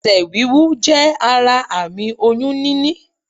Esè wíwú jé ara àmì oyún níní